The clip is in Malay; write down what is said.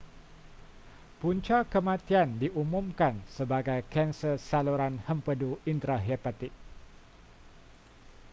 punca kematian diumumkan sebagai kanser saluran hempedu intrahepatik